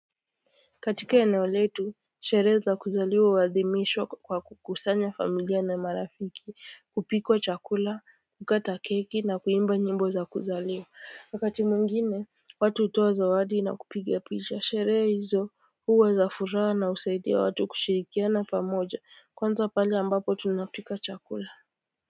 Katika eneo letu sherehe za kuzaliwa huadhimishwa kwa kukusanya familia na marafiki hupikwa chakula kukata keki na kuimba nyimbo za kuzaliwa wakati mwingine watu hutoa zawadi na kupiga picha sherehe hizo huwa za furaha na husaidia watu kushirikiana pamoja kwanza pale ambapo tunapika chakula.